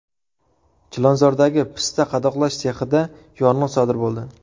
Chilonzordagi pista qadoqlash sexida yong‘in sodir bo‘ldi.